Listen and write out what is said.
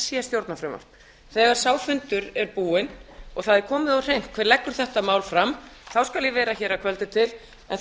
sé stjórnarfrumvarp þegar sá fundur er búinn og það er komið á hreint hver leggur þetta mál fram þá skal ég vera á kvöldfundi en